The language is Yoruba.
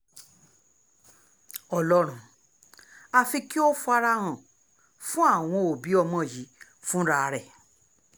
ọlọ́run àfi kí ó fara hàn fún àwọn òbí ọmọ yìí fúnra rẹ̀